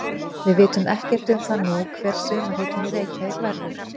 Við vitum ekkert um það nú hver sumarhitinn í Reykjavík verður.